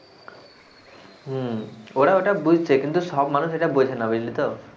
হম ওরা ওটা বুঝতে কিন্তু সব মানুষ এটা বোঝে না বুঝলি তো,